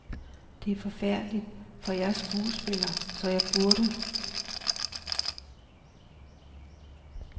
Det er forfærdeligt, for jeg er skuespiller, så jeg burde.